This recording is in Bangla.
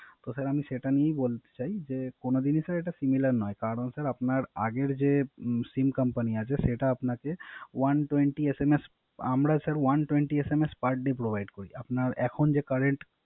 তো Sir আমি সেটা নিয়ে বলতে চাই। কোন দিনই Sir এটা Similar নয়, কারন Sir আপনার আগের যে SIM Company আছে সেটা আপনাকে One twenty SMS Provide করে না। আমরা Sir one twenty SMS per day provide করি। আপনার এখন যে Current